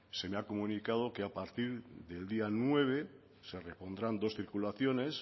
se me ha comunicado que a partir del día nueve se repondrán dos circulaciones